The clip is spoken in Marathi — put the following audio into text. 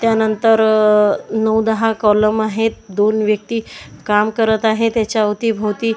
त्यानंतर नऊ दहा कॉलम आहेत दोन व्यक्ती काम करत आहे त्याच्या अवती भोवती--